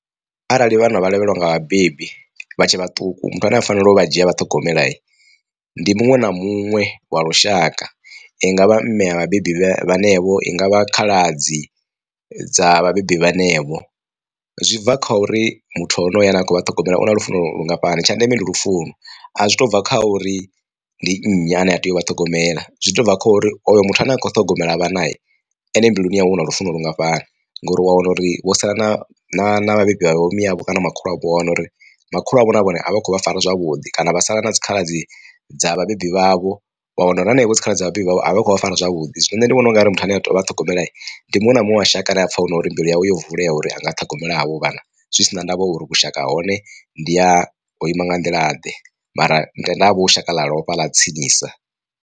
Arali vhana vha lovheliwa nga vhabebi vha tshe vhaṱuku muthu ane a fanela u vha dzhia vha ṱhogomela ndi muṅwe na muṅwe wa lushaka i ngavha mme a vhabebi vhenevho i ngavha khaladzi dza vhabebi vhenevho. Zwi bva kha uri muthu honoyo ane a khou vha ṱhogomela una lufuno lungafhani tsha ndeme ndi lufuno. A zwi to bva kha uri ndi nnyi ane a tea u vha ṱhogomela zwi to bva khori oyo muthu ane a kho ṱhogomela vhana ene mbiluni yawe una lufuno lungafhani, ngori wa wana uri wo sala na na na vhabebi vhavho miyavho kana makhulu avho wa wana uri makhulu avho na vhone a vhakho vha fara zwavhuḓi kana vha sala na dzikhaladzi dza vhabebi vhavho, wa wana uri hanevho dzikhaladzi vhabebi vhavho vha fara zwavhuḓi. Zwino nṋe ndi vhona ungari muthu ane a tea u vha ṱhogomela ndi muṅwe na muṅwe wa shaka ane apfha hunori mbilu yawe yo vulea uri anga ṱhogomela avho vhana zwi sina ndavha uri vhushaka ha hone ndi ha ho ima nga nḓila ḓe mara tenda ha vha hushaka ḽa lovha ḽa tsinisa.